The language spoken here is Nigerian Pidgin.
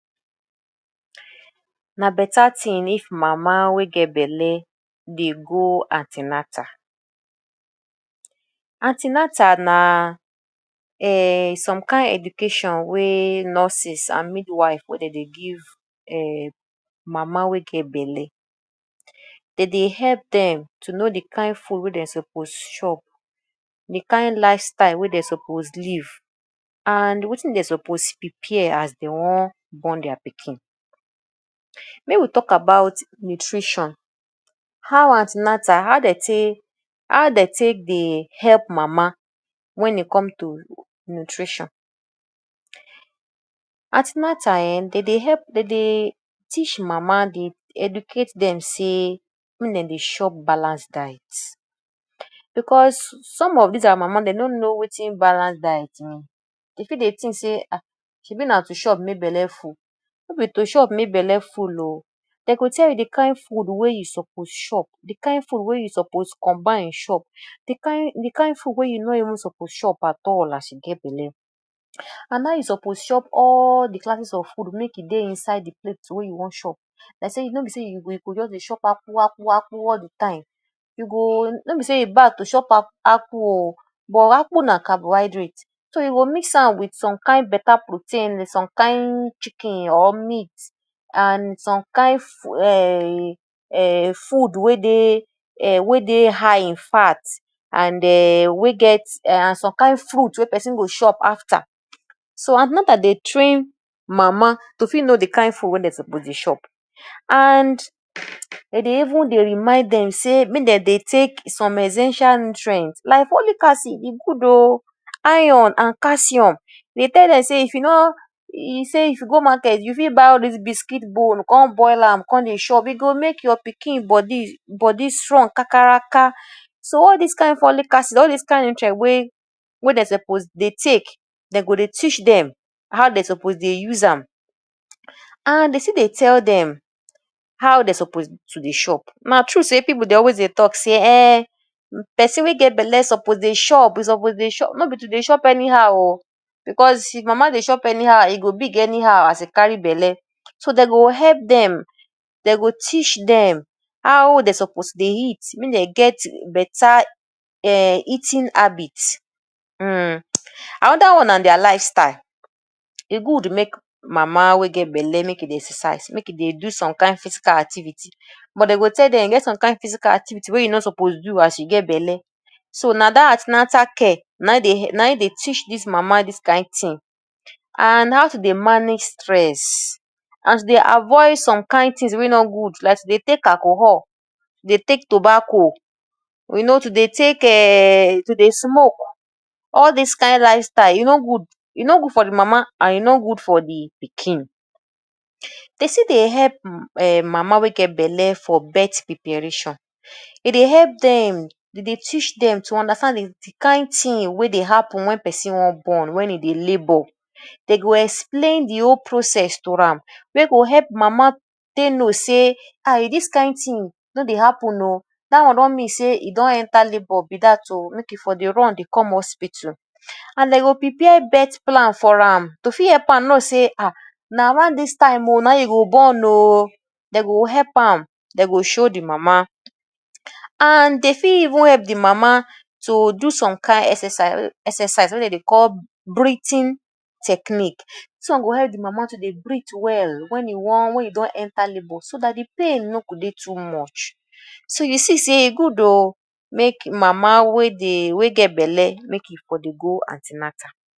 Na better thing if mama wey get belle dey go an ten atal. An ten atal na um some kain education wey nurses and midwife wey dey dey give um mama wey get belle. Dey dey help dem to know de Kain food wey dem suppose chop, de kain lifestyle wey dem suppose live and wetin dem suppose prepare as dey wan born their pikin. Make we talk about nutrition; how an ten atal how dey take how dey take dey help mama wen e come to nutrition. An ten atal um dey dey help dey dey teach mama, dey educate dem sey make dem dey chop balance diet because some of dis our mama dey no know wetin balance diet mean, dey fit dey think sey um shebi na to chop make belle full?. No be to chop make belle full oo, dem go tell you de kain food wey you suppose chop, de kain food wey you suppose combine chop, de kain de kain food wey you no even suppose chop at all as you get belle. And how you suppose chop all de classes of food make e dey inside de plate wey you wan chop like sey no be sey you go dey chop akpu, akpu, akpu all de time. You go, no be sey e bad to chop a akpu oo but akpu na carbohydrate, so you go mix am wit some kain better protein, some kain chicken or meat and some kain um food wey dey um wey dey high in fat and um wey get and some kain fruit wey person go chop after. So an ten atal dey train mama to fit know de kain food wey dem suppose dey chop. And dey dey even dey remind dem sey make dem dey take some essential nutrients like folic acid; e good oo, iron and calcium. Dey tell dem sey if you no sey if you go market, you fit buy all dis biscuit bone con boil am, come dey chop. E go make your pikin body body strong kakaraka. So all dis kain folic acid, all dis kain nutrient wey wey dey suppose dey take, dey go dey teach dem how dey suppose dey use am. And dey still dey tell dem how dey suppose to dey chop. Na true sey pipu dey always dey talk sey um person wey get belle suppose dey chop, e suppose dey chop. No be to dey chop anyhow oo because if mama dey chop anyhow, e go big anyhow as e carry belle. So dey go help dem, dey go teach dem how dey suppose dey eat make dey get better um eating habit um. Another one na their lifestyle. E good make mama wey get belle make e dey exercise, make e dey do some kain physical activity but dey go tell dem e get some kain physical activity wey you no suppose do as you get belle. So na dat an ten atal care na im dey na im dey teach dis mama dis kain thing and how to dey manage stress. And to dey avoid some kain things wey no good like to dey take alcohol, de take tobacco, we no too, dey take um to dey smoke. All dis kain lifestyle e no good, e no good for de mama and e no good for de pikin. Dey still dey help um mama wey get belle for birth preparation, e dey help dem, dey dey teach dem to understand de kain thing wey dey happen wen person wan born wen e dey labour. Dey go explain de whole process to am wey go help de mama take know sey um if dis kain thing no dey happen oo dat one don mean sey e don enter labour be dat oo make e for run dey come hospital. And dem go prepare birth plan for am to fit help am know sey um na around dis time oo na im go born oo. Dem go help am, dem go show de mama. And dey fit even help de mama do some kain exercise wey dem dey call breathing technique. Dis one go help de mama to dey breathe well wen e wan wen e don enter labour so dat de pain no go dey too much. So you see sey e good oo make mama wey dey wey get belle make e for dey go an ten atal.